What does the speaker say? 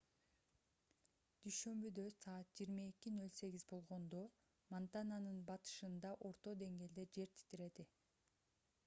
дүйшөмбүдө саат 22:08 болгондо монтананын батышында орто деңгээлде жер титиреди